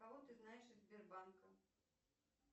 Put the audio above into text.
кого ты знаешь из сбербанка